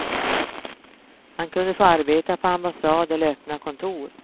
Han kunde få arbeta på ambassad eller öppna kontor.